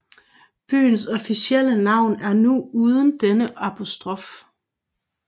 Byens officielle navn er nu uden denne apostrof